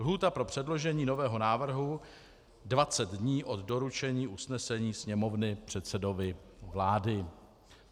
Lhůta pro předložení nového návrhu: 20 dní od doručení usnesení Sněmovny předsedovi vlády.